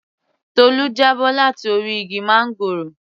Tolu já bọ́ láti orí igi máńgòrò